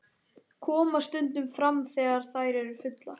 Koma stundum fram þegar þær eru fullar.